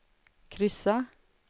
kryssa